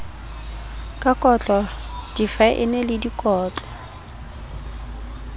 ka kotlo difaene le dikotlo